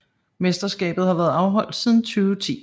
Mesterskabet har været afholdt siden 2010